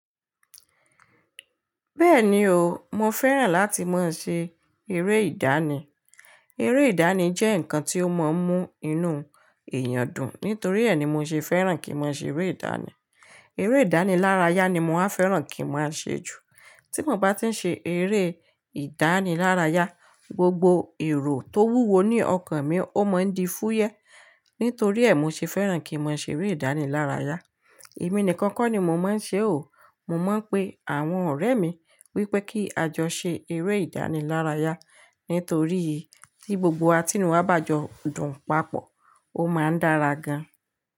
Bẹ́ẹ̀ni o, mo fẹ́ràn láti máa ṣe eré ìdánì. Eré ìdánì jẹ́ nǹkan tí ó máa ń mú inú èèyàn dùn, nítorí ẹ́ ni mo ṣe fẹ́ràn kí n máa ṣe eré ìdánì. Eré ìdánì lára yá ni mo máa fẹ́ràn kí n máa ṣe jù. Tí mo bá ti ń ṣe eré ìdánì lára yá, gbogbo èrò tó wúwo ní ọkàn mi ó máa ń di fúyẹ́. Nítorí ẹ́ mo ṣe fẹ́ràn kí n máa ṣe eré ìdánì lára yá. Èmi nìkan kọ́ ni mo máa ń ṣe ò, mo máa ń pe àwọn ọ̀rẹ́ mi wípé kí a jọ ṣe eré ìdánì lára yá. Nítorí tí gbogbo wa tíì nú wa bà jọ dùn papọ̀, ó máa ń dára gan.